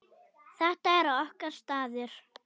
Þetta er okkar staður.